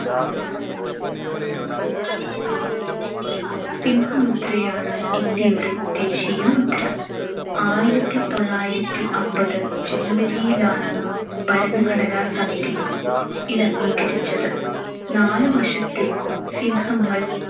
സിംഹമുദ്രയാണ് ഇന്ത്യയുടെ ദേശീയമുദ്ര. ആയിരത്തിത്തൊള്ളായിരത്തി അമ്പത് january ലാണ് ഭരണഘടനാ സമിതി ഇതംഗീകരിച്ചത്. നാലുവശത്തേക്കും സിംഹങ്ങൾ